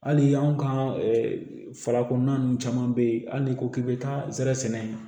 Hali anw ka fara kɔnɔna ninnu caman bɛ yen hali n'i ko k'i bɛ taa zɛrɛ sɛnɛ